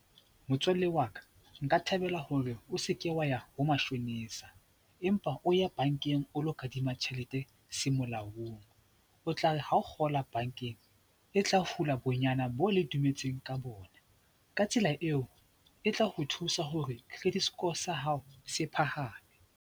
Motswalle wa ka, nka thabela hore o seke wa ya ho mashonisa empa o ye bankeng o lo kadima tjhelete se molaong O tla re ha o kgola bankeng, e tla hula bonyane bo le dumetseng ka bona, ka tsela eo, e tla o thusa hore credit score sa hao se phahame.